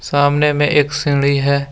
सामने में एक सीढ़ी है।